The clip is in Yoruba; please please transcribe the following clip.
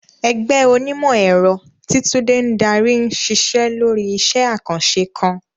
Ẹgbẹ́ onímọ̀-ẹ̀rọ, tí Tunde ń darí, ń ṣiṣẹ́ lórí iṣẹ́ àkànṣe kan.